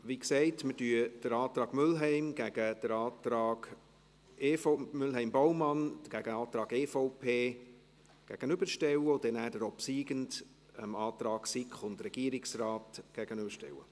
Wie gesagt: Wir stellen den Antrag Mühlheim/Baumann dem Antrag EVP gegenüber, und dann werden wir den obsiegenden Antrag dem Antrag SiK/Regierungsrat gegenüberstellen.